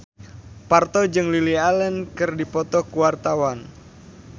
Parto jeung Lily Allen keur dipoto ku wartawan